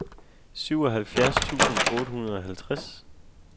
syvoghalvfjerds tusind otte hundrede og halvtreds